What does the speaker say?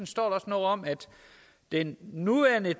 står noget om at den nuværende